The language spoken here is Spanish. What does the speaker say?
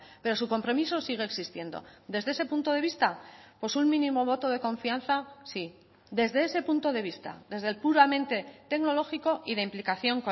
pero su compromiso sigue existiendo desde ese punto de vista pues un mínimo voto de confianza sí desde ese punto de vista desde el puramente tecnológico y de implicación